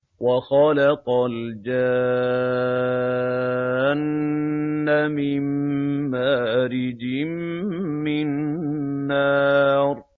وَخَلَقَ الْجَانَّ مِن مَّارِجٍ مِّن نَّارٍ